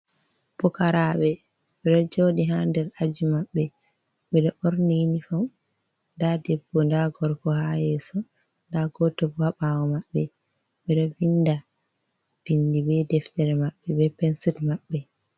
Pukarabe ɓeɗo joɗi ha der aji maɓɓe ɓeɗo ɓorni inifom nda debbo nda gorko ha yeso nda goto bo ha ɓawo maɓɓe ɓeɗo vinda bindi be deftere maɓɓe be pensil maɓɓe.